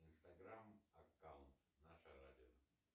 инстаграм аккаунт наше радио